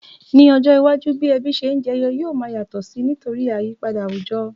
Ní ojó iwájú, bi ebí se n jeyo yio ma yàtò si nítorí àyípadà àwùjo